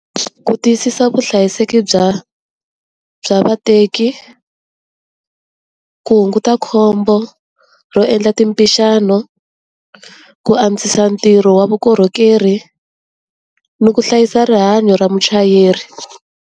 Ku tiyisisa vuhlayiseki bya bya vateki, ku hunguta khombo ro endla timpixano, ku antswisa ntirho wa vukorhokeri, ni ku hlayisa rihanyo ra muchayeri.